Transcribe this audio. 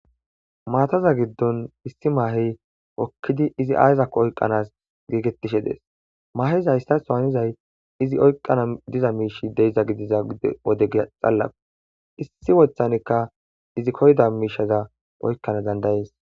Maataza giddon issi maahey okkidi izi ayzako oyqqanas geegettishe dees mahezayssaohanizay izi oyqana diza miishi deiza gidiza wodege xallau issi wothanikka izi koyda miishaza oykkana dandayees